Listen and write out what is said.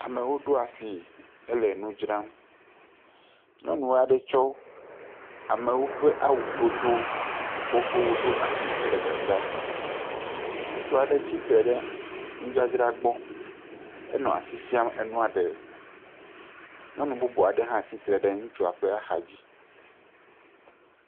Amewo ɖoa si hele nu dzram. Nyɔnua aɖe tsɔ amewo ƒe awudodo xoxowo ɖo asi hele dzadzram. Ŋutsu aɖe tsi tre ɖe nudzadzra gbɔ. Enɔ asi fiam enua ɖe. Nyɔnu bubu aɖe hã tsitre ɖe ŋutsua ƒe axa dzi.